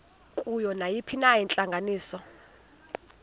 kuyo nayiphina intlanganiso